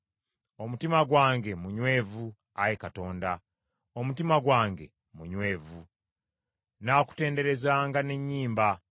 Omutima gwange munywevu, Ayi Katonda, omutima gwange munywevu. Nnaakutenderezanga n’ennyimba.